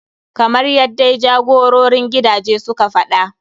Kamar yaddai jagororin gidaje suka faɗa.